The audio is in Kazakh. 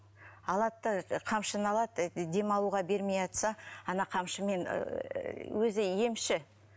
алады да қамшыны алады демалуға бермей ана қамшымен өзі емші